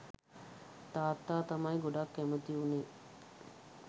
තාත්තා තමයි ගොඩක් කැමැති වුණේ